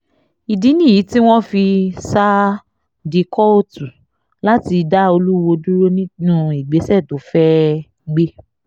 ìdí nìyí tí wọ́n fi sá di kóòtù láti dá olùwòo dúró nínú ìgbésẹ̀ tó fẹ́ẹ́ gbé